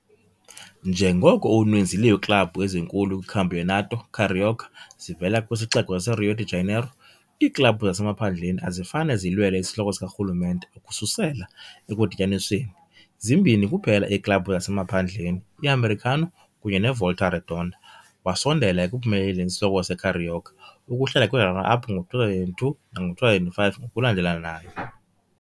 Njengoko uninzi lweeklabhu ezinkulu kwiCampeonato Carioca zivela kwisixeko saseRio de Janeiro, iiklabhu zasemaphandleni azifane zilwele isihloko sikarhulumente ukususela ekudityanisweni, zimbini kuphela iiklabhu zasemaphandleni, i-Americano kunye neVolta Redonda, wasondela ekuphumeleleni isihloko seCarioca, ukuhlala kwi-runner-up ngo-2002 nango-2005 ngokulandelanayo.